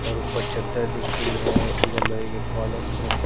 और ऊपर चद्दर दिख रहीं हैं इधर लोहे के कॉलम्स हैं।